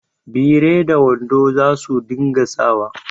Biri da wando za su dinga sa wa